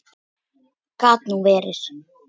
Gat nú verið